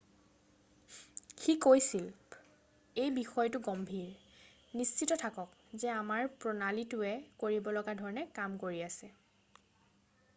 "সি কৈছিল,""এই বিষয়টো গম্ভীৰ। নিশ্চিত থাকক যে আমাৰ প্ৰণালীটোৱে কৰিব লগা ধৰণে কাম কৰি আছে।""